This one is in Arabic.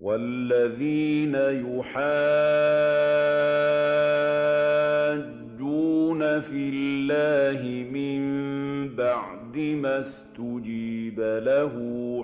وَالَّذِينَ يُحَاجُّونَ فِي اللَّهِ مِن بَعْدِ مَا اسْتُجِيبَ لَهُ